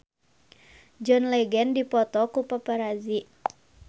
John Legend dipoto ku paparazi